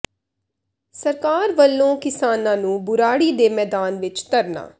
ਸਰਕਾਰ ਵੱਲੋਂ ਕਿਸਾਨਾਂ ਨੂੰ ਬੁਰਾੜੀ ਦੇ ਮੈਦਾਨ ਵਿੱਚ ਧਰਨਾ